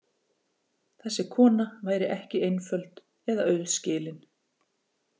Þessi kona væri ekki einföld eða auðskilin.